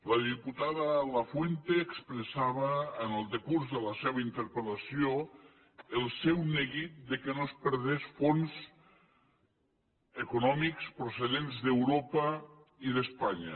la diputada lafuente expressava en el decurs de la seva interpel·lació el seu neguit que no es perdés fons econòmics procedents d’europa i d’espanya